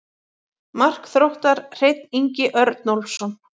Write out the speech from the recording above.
Mark Þróttar: Hreinn Ingi Örnólfsson.